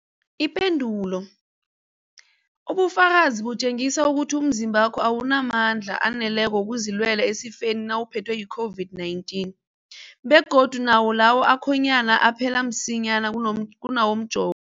Ipendulo, ubufakazi butjengisa ukuthi umzimbakho awunamandla aneleko wokuzilwela esifeni nawuphethwe yi-COVID-19, begodu nawo lawo akhonyana aphela msinyana kunawomjovo.